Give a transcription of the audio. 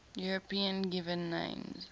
european given names